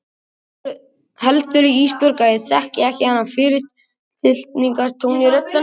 Heldurðu Ísbjörg að ég þekki ekki þennan fyrirlitningartón í röddinni á þér?